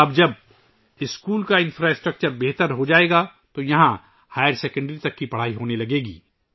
اب جب اسکول کا بنیادی ڈھانچہ سدھر جائے گا تو یہاں ہائر سیکنڈری تک کی پڑھائی ہونے لگے گی